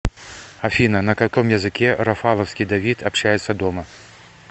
афина на каком языке рафаловский давид общается дома